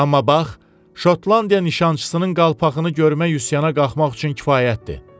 Amma bax Şotlandiya nişançısının qalpağını görmək üsyana qalxmaq üçün kifayətdir.